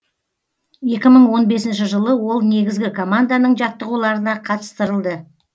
екі мың он бесінші жылы ол негізгі команданың жаттығуларына қатыстырылды